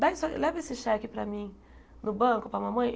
Dá isso, leva esse cheque para mim, no banco, para a mamãe.